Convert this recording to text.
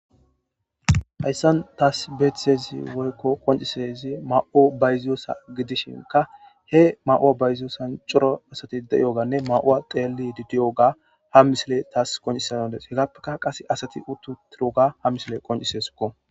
hayssan taas beethtezi woykko qoncisezi ma7o bayziyosa gidishinka he ma7uwa bayziyosan coro asati deiyoganne ma7uwa xeelli didiyoga ha misile taas qoncisandes hegappeka qase asati uttutiroga ha misile qoncisesikko